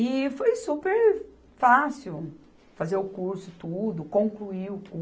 E foi super fácil fazer o curso, tudo, concluir o